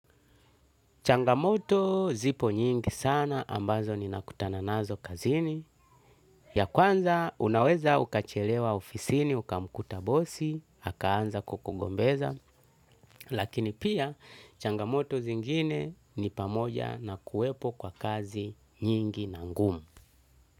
Changamoto zipo nyingi sana ambazo ninakutana nazo kazini, ya kwanza unaweza ukachelewa ofisini, ukamkuta bosi akaanza kukugombeza, lakini pia, changamoto zingine ni pamoja na kuwepo kwa kazi nyingi na ngumu.